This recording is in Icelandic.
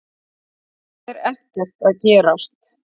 Það er ekkert að gerast.